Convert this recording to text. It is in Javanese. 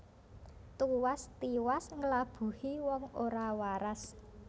Tuwas tiwas nglabuhi wong ora waras